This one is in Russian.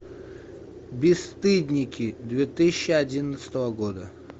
бесстыдники две тысячи одиннадцатого года